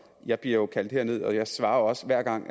jeg bliver kaldt herned og jeg svarer også hver gang